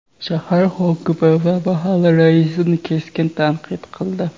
shahar hokimi va mahalla raisini keskin tanqid qildi.